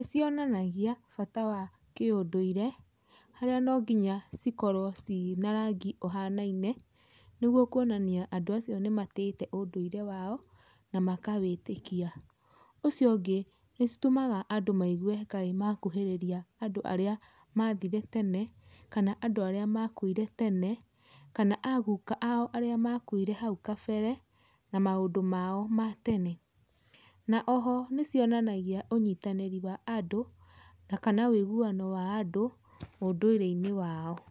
Nĩcionanagia bata wa kĩũndũire harĩa nonginya cikorwo cina rangi ũhanaine nĩgũo kwonania andũ acio nĩmatĩĩte ũndũire wao na makawĩtĩkia, ũcio ũngĩ nĩcitũmaga andũ maigue kaĩ makuhĩrĩiria andũ arĩa mathire tene kana andũ arĩa makuire tene kana aguka ao arĩa makuire hau kabere na maũndũ mao matene. Na oho nĩcionanagia ũnyitanĩri wa andũ na kana ũiguano wa andũ ũndũire wao.